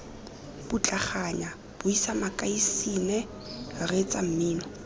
putlaganyang buisa makasine reetsa mmino